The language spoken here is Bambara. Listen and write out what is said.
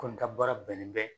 Kɔni ka baara bɛnnen bɛ